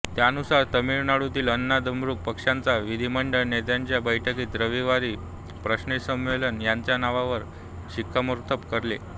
त्यानुसार तामिळनाडूतील अण्णा द्रमुक पक्षाच्या विधिमंडळ नेत्यांच्या बैठकीत रविवारी पन्नीरसेल्वम यांच्या नावावर शिक्कामोर्तब केले